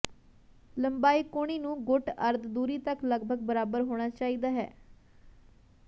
ਲੰਬਾਈ ਕੂਹਣੀ ਨੂੰ ਗੁੱਟ ਅਰਧ ਦੂਰੀ ਤੱਕ ਲਗਭਗ ਬਰਾਬਰ ਹੋਣਾ ਚਾਹੀਦਾ ਹੈ